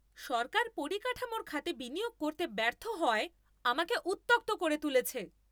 সরকার পরিকাঠামোর খাতে বিনিয়োগ করতে ব্যর্থ হওয়ায় আমাকে উত্যক্ত করে তুলেছে।